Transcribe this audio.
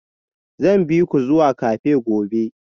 Zan bi ku zuwa cafe gobe